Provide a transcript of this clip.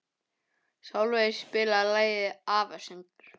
Sölvey, spilaðu lagið „Afasöngur“.